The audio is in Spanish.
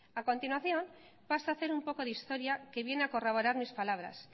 a continuación paso a hacer un poco de historia que viene a corroborar mis palabras